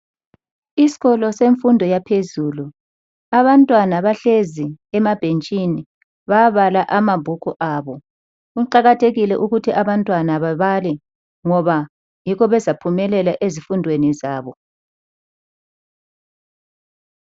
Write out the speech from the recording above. Isikolo semfundo yaphezulu abantwana bahlezi emabhentshini babala amabhuku abo kuqakathekile ukuthi abantwana babale ngoba yikho bezaphumelela ezifundweni zabo.